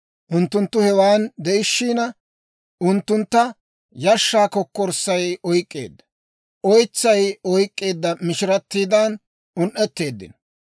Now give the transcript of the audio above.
Unttunttu hewan de'ishiina, unttuntta yashshaa kokkorssay oyk'k'eedda; oytsay oyk'k'eedda mishirattiidan un"eteeddino.